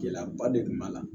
Gɛlɛyaba de tun b'a la